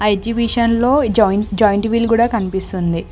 ఎగ్జిబిషన్లో joint wheel కూడా కనిపిస్తుంది.